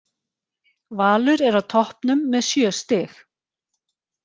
Valur er á toppnum með sjö stig.